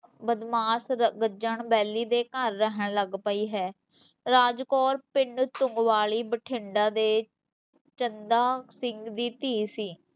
ਬਦਮਾਸ ਗੱਜਣ ਬੇਲੀ ਦੇ ਘਰ ਰਹਿਣ ਲੱਗ ਪਈ ਹੈ ਰਾਜ ਕੋਰ ਪਿੰਡ ਤੁੰਗਵਾਲੀ ਬਠਿੰਡਾ ਦੇ ਚੰਦਾ ਸਿੰਘ ਦੀ ਧੀ ਸੀ